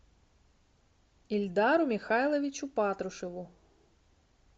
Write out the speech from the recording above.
ильдару михайловичу патрушеву